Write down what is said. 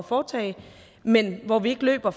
foretage men hvor vi ikke løber